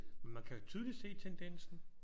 Men man kan jo tydeligt se tendensen